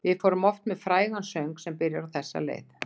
Við fórum oft með frægan söng, sem byrjar á þessa leið